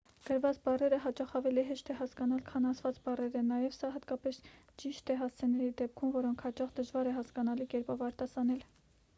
գրված բառերը հաճախ ավելի հեշտ է հասկանալ քան ասված բառերը նաև սա հատկապես ճիշտ է հասցեների դեպքում որոնք հաճախ դժվար է հասկանալի կերպով արտասանել